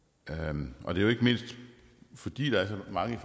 og det er jo ikke mindst fordi der er så mange